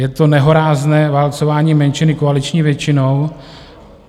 Je to nehorázné válcování menšiny koaliční většinou.